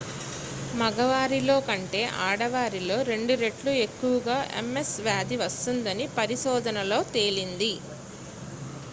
మగవారిలో కంటే ఆడవారిలో రెండు రెట్లు ఎక్కవగా ms వ్యాధి వస్తుందని పరిశోధనలో తేలింది